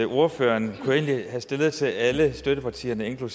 ordføreren kunne jeg egentlig have stillet til alle støttepartierne og